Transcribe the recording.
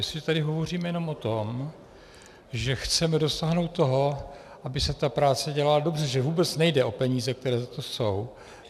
Jestliže tedy hovoříme jenom o tom, že chceme dosáhnout toho, aby se ta práce dělala dobře, že vůbec nejde o peníze, které za to jsou.